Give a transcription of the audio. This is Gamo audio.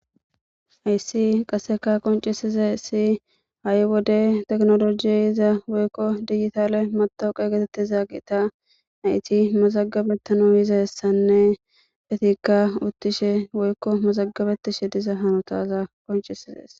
Haysi qaseka qoncisizays ha'i wode tekino loge ehiza woyko de'iza digital matoqa getetiza geta nayti mazagabetiza yizaysanne etika utishe woyko mazagabetishe hanotada qoncises